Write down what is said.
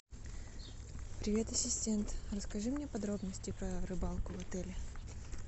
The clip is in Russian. привет ассистент расскажи мне подробности про рыбалку в отеле